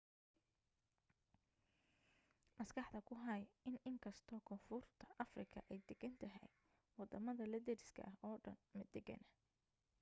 maskaxda ku hay in inkastoo koonfurta afrika ay degan tahay wadamada la deriska oo dhan ma degana